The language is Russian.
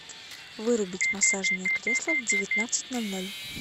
вырубить массажное кресло в девятнадцать ноль ноль